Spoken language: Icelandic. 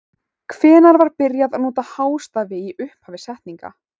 Hvenær var byrjað að nota hástafi í upphafi setninga?